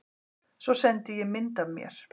Svo sendi ég mynd af mér.